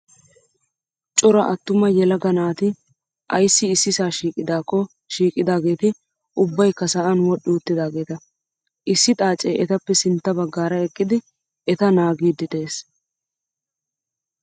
Cora attuma yelaga naati ayissi issisaa shiiqidaako shiiqidaageeti ubbayikka sa'an wodhdhi uttaageeta. Issi xaacee etappe sintta baggaara eqqidi eta naagiiddi des.